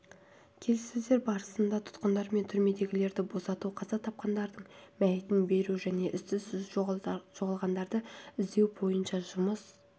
келіссөздер барысында тұтқындар мен түрмедегілерді босату қаза тапқандардың мәйітін беру және із-түссіз жоғалғандарды іздеу бойынша жұмыс